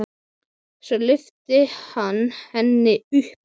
Og svo lyfti hann henni upp.